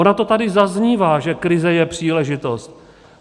Ono to tady zaznívá, že krize je příležitost.